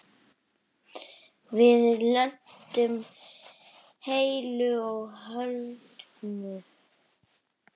Við lentum heilu og höldnu.